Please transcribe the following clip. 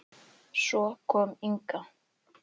Svo kom Inga.